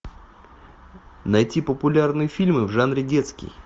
найти популярные фильмы в жанре детский